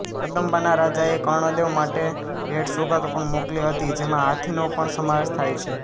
કદંબાના રાજાએ કર્ણદેવ માટે ભેટસોગાતો પણ મોકલી હતી જેમાં હાથીનો પણ સમાવેશ થાય છે